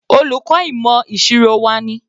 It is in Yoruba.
Olùkọ́ ìmọ̀ ìṣirò wa ni.